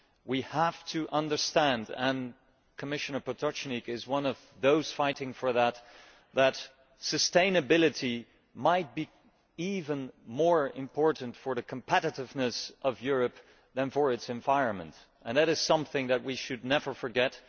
We have to understand, and Commissioner Potočnik is one of those fighting for this, that sustainability might be even more important for the competitiveness of Europe than for its environment and that is something that we should never forget.